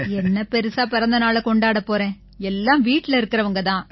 என்ன பெரிசா பிறந்த நாளைக் கொண்டாடப் போறேன் எல்லாம் வீட்டுல இருக்கறவங்க தான்